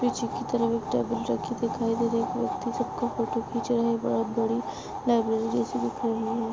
पीछे की तरफ टेबल रखी दिखाई दे रही है एक व्यक्ति सबका फोटो खींच रहा है बहुत बड़ी लाइब्रेरी जैसा दिख रही है।